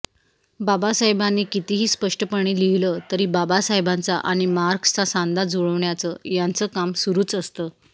बाबासाहेबांनी कितीही स्पष्टपणे लिहिलं तरी बाबासाहेबांचा आणि मार्क्सचा सांधा जुळवण्याचं याचं काम सुरुच असतं